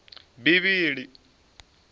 bivhili